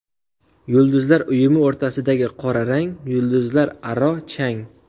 Yulduzlar uyumi o‘rtasidagi qora rang yulduzlararo chang.